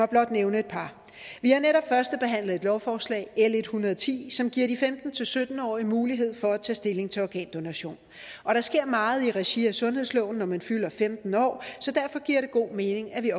blot nævne et par vi har netop førstebehandlet lovforslag l en hundrede og ti som giver de femten til sytten årige mulighed for at tage stilling til organdonation og der sker meget i regi af sundhedsloven når man fylder femten så derfor giver det god mening at vi